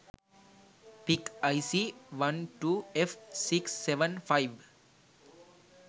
pic ic 12f675